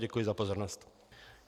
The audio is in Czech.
Děkuji za pozornost.